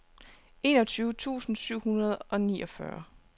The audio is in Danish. enogtyve tusind syv hundrede og niogfyrre